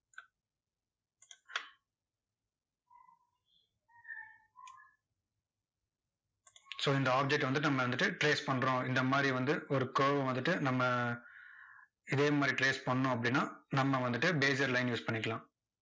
so இந்த object அ வந்து நம்ம வந்துட்டு trace பண்றோம், இந்த மாதிரி வந்து ஒரு curve வந்துட்டு நம்ம, இதே மாதிரி trace பண்ணணும் அப்படின்னா, நம்ம வந்துட்டு bezier line use பண்ணிக்கலாம்.